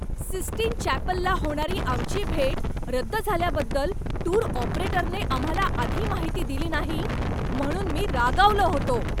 Sistine चॅपलला होणारी आमची भेट रद्द झाल्याबद्दल टूर ऑपरेटरने आम्हाला आधी माहिती दिली नाही म्हणून मी रागावलो होतो.